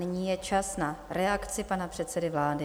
Nyní je čas na reakci pana předsedy vlády.